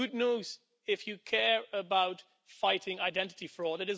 It is good news if you care about fighting identity fraud.